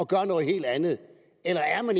gør noget helt andet er herre